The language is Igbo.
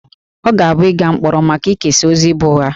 Ọ ga-abụ ịga mkpọrọ maka ikesa ozi bụ ụgha